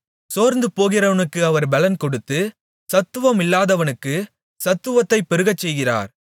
சோர்ந்துபோகிறவனுக்கு அவர் பெலன் கொடுத்து சத்துவமில்லாதவனுக்குச் சத்துவத்தைப் பெருகச்செய்கிறார்